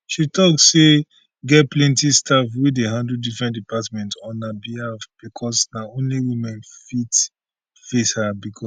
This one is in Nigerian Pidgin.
she tok say get plenti staff wey dey handle different departments on her behalf becos na only women fit her face becos